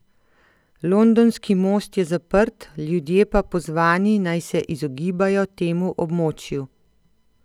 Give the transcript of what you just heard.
Londonski most je zaprt, ljudje pa pozvani, naj se izogibajo temu območju.